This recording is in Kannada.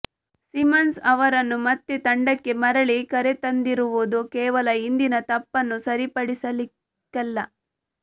ಸಿಮನ್ಸ್ ಅವರನ್ನು ಮತ್ತೆ ತಂಡಕ್ಕೆ ಮರಳಿ ಕರೆತಂದಿರುವುದು ಕೇವಲ ಹಿಂದಿನ ತಪ್ಪನ್ನು ಸರಿಪಡಿಸಲಿಕ್ಕಲ್ಲ